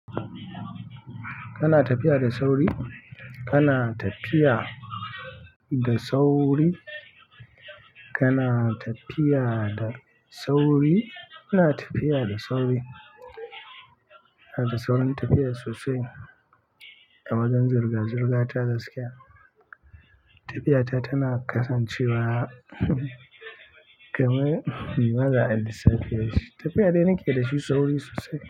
Kana tafiya da sauri? Kana tafiya da sauri? Kana tafiya da sauri? Kana tafiya da sauri? Ina da saurin tafiya sosai a wajen zirga-zirga ta gaskiya. Tafiya ta tana kasancewa kamar maza Ali Sapeyi. Tafiya dai nake dashi sauri sosai.